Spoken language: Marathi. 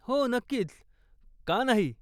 हो, नक्कीच, का नाही?